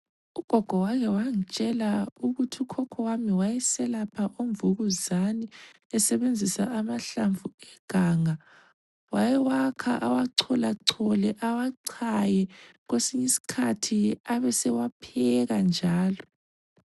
Ugogo wakewangitshela ukuthi ukhokho wami wayeselapha umvukuzani, esebenzisa amahlamvu eganga. Wayewakha ewacholachole awachaye, kwesinye isikhathi abesewapheka njalo.